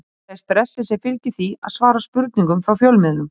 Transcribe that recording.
Þetta er stressið sem fylgir því að svara spurningum frá fjölmiðlum.